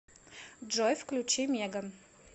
джой включи меган